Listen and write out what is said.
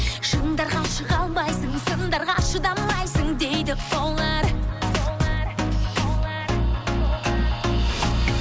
шыңдарға шыға алмайсың сындарға шыдамайсың дейді олар